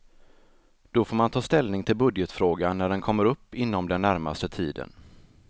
Då får man ta ställning till budgetfrågan när den kommer upp inom den närmaste tiden.